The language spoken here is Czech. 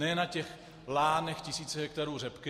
Ne na těch lánech tisíce hektarů řepky.